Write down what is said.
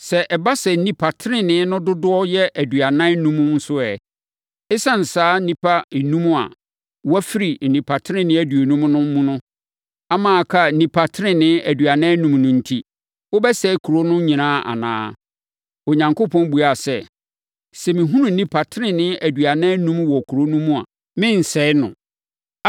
sɛ ɛba sɛ nnipa tenenee no dodoɔ yɛ aduanan enum nso ɛ? Esiane saa nnipa enum a wɔafiri nnipa tenenee aduonum no so ama aka nnipa tenenee aduanan enum no enti, wobɛsɛe kuro mu no nyinaa anaa?” Onyankopɔn buaa sɛ, “Sɛ mehunu nnipa tenenee aduanan enum wɔ kuro no mu a, merensɛe no.”